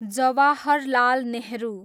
Jawaharlal Nehru